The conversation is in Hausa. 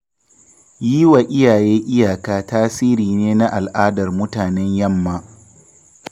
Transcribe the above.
Yi wa iyaye iyaka tasiri ne na al'adar mutanen yamma.